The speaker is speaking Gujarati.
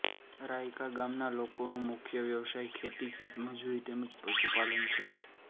રાયકા ગામના લોકોનો મુખ્ય વ્યવસાય ખેતી ખેતમજૂરી તેમ જ પશુપાલન છે